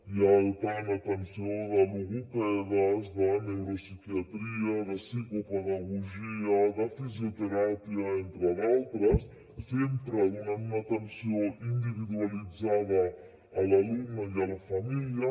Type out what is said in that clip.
hi ha tant atenció de logopedes de neuropsiquiatria de psicopedagogia de fisioteràpia entre d’altres sempre donant una atenció individualitzada a l’alumne i a la família